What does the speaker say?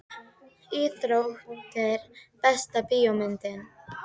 íþróttir Besta bíómyndin?